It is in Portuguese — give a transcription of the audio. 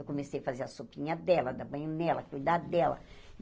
Eu comecei a fazer a sopinha dela, dar banho nela, cuidar dela.